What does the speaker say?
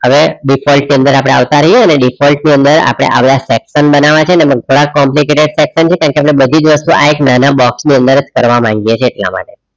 હવે default ની અંદર આપણે આવતા રહીએ અને default ની અંદર આપણે આવા section બનાવા છે અને ઘણા complicated section છે કારણ કે આપણે બધી જ વસ્તુ આ એક નાના box ની અંદર જ કરવામાં આવી જાય છે એટલા માટે